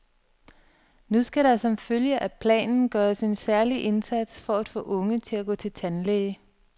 Nu skal der som følge af planen gøres en særlig indsats for at få unge til at gå til tandlæge.